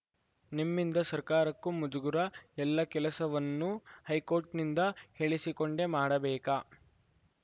ನಿಮ್ಮಿಂದ ಸರ್ಕಾರಕ್ಕೂ ಮುಜುಗುರ ಎಲ್ಲ ಕೆಲಸವನ್ನೂ ಹೈಕೋರ್ಟ್‌ನಿಂದ ಹೇಳಿಸಿಕೊಂಡೇ ಮಾಡಬೇಕಾ